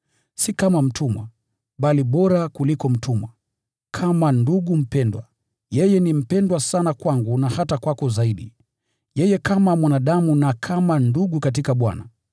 Si kama mtumwa, bali bora kuliko mtumwa, kama ndugu mpendwa. Yeye ni mpendwa sana kwangu na hata kwako zaidi, yeye kama mwanadamu na kama ndugu katika Bwana.